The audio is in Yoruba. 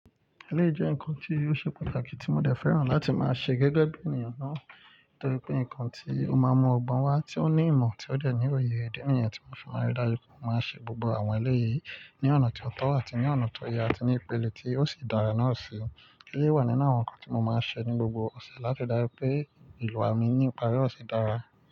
Eléyìí jẹ́ ǹkan tí ó ṣè pàtàkí tí mó dẹ̀ fẹ́ràn láti mà ṣè gẹ́gẹ̀bí ènìyàn náà, torí pé nǹkan tí ó máa n mu ọgbọn wá tí ó ní ìmọ̀ tí ó dẹ̀ ní òye. Idi níyẹn tí mó fi wa rí i dárú pé mó mà n ṣè gbogbo àwọn eléyìí ní ọ̀nà tí ó tọ́ àtí ní ọ̀nà tó yẹ àtí ní ìpele tí ó sì dárà náà síi. Éléyì wà nínú àwọn nǹkan tí mó máa ṣè ní gbogbo ọ̀ṣẹ̀ láti rí dájú pé ìlú wà mí ní ipárí òṣe dárà.